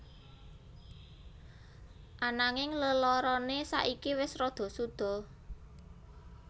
Ananging lelarane saiki wis rada suda